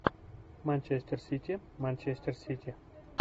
манчестер сити манчестер сити